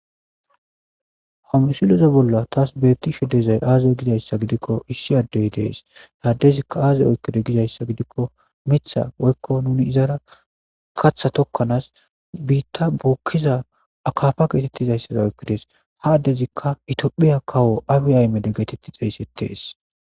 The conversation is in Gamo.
Hamisiloza bolla taas beetishe dezay aaze gizayssa gidikko issi addey dees haadezikka aazay oykkide gidayssa gidikko mitha woykko nuni izara katha tokkanaas biitta bookkiza akafa geetettizayssada oykkidees hadezikka itiphiya kawo abi aymede geetetti xayssettees